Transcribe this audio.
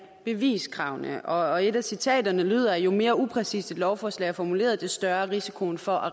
beviskravene og et af citaterne lyder jo mere upræcist lovforslaget er formuleret jo større er risikoen for at